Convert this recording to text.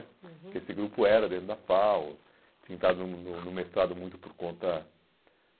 uhum, porque esse grupo era dentro da FAU, tinha entrado no no no mestrado muito por conta